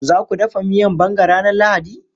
Za ku dafa miyan banga ranar Lahadi?